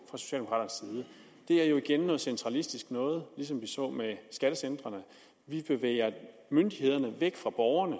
det er jo igen noget centralistisk noget ligesom vi så det med skattecentrene vi bevæger myndighederne væk fra borgerne